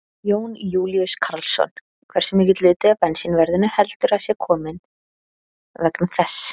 Jón Júlíus Karlsson: Hversu mikill hluti af bensínverðinu heldur að sé til komin vegna þess?